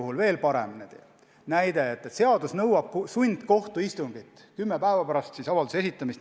Ja veel parem näide on pankroti puhul: seadus nõuab sundkohtuistungit kümme päeva pärast avalduse esitamist.